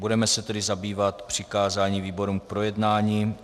Budeme se tedy zabývat přikázáním výborům k projednání.